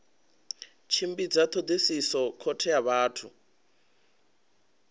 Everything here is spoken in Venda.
tshimbidza thodisiso khothe ya vhathu